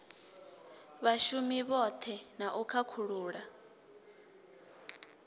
vhshumi vhohe na u khakhulula